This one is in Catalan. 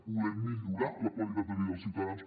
volem millorar la qualitat de vida dels ciutadans